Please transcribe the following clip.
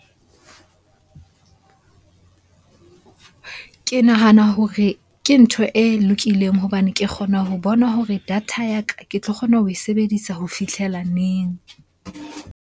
Ke nahana hore ke ntho e lokileng hobane ke kgona ho bona hore data ya ka ke tlo kgona ho e sebedisa ho fihlela neng?